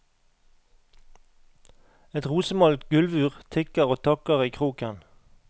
Et rosemalt gulvur tikker og takker i kroken.